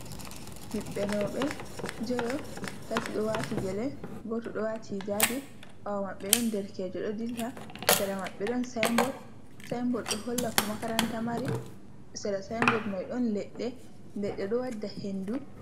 miɓbenobe jeyo tati do wati gele goto do wati jabi bawa maɓɓe don derkejo do dilla sera maɓɓe don sinbod do holla ko makaranta mari a sinbod mai don ledde lede do wadda hendu